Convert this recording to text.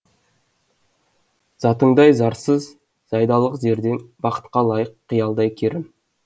затыңдай зарсыз зайдалық зердең бақытқа лайық қиялдай керім